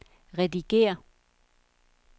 redigér